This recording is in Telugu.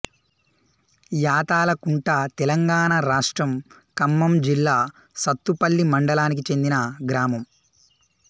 యాతాలకుంట తెలంగాణ రాష్ట్రం ఖమ్మం జిల్లా సత్తుపల్లి మండలానికి చెందిన గ్రామం